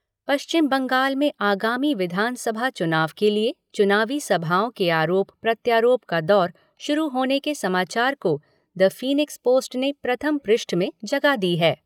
पश्चिम बंगाल में आगामी विधानसभा चुनाव के लिए चुनावी सभाओं के आरोप प्रत्यारोप का दौर शुरू होने के समाचार को द फ़ीनिक्स पोस्ट ने प्रथम पृष्ठ में जगह दी है।